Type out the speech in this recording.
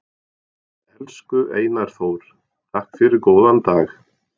Elsku Einar Þór, takk fyrir góðan dag.